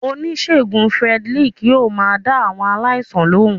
Onisegún Fredrick yóò má dá awọn aláísàn lohún.